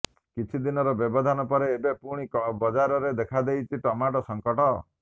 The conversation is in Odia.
କିଛି ଦିନର ବ୍ୟବଧାନ ପରେ ଏବେ ପୁଣି ବଜାରରେ ଦେଖାଦେଇଛି ଟମାଟୋ ସଂକଟ